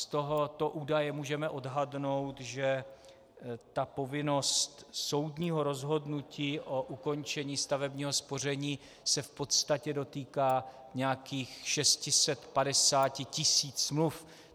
Z tohoto údaje můžeme odhadnout, že ta povinnost soudního rozhodnutí o ukončení stavebního spoření se v podstatě dotýká nějakých 650 tisíc smluv.